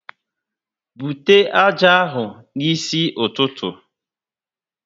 Bute ájá ahụ n'isi ụtụtụ!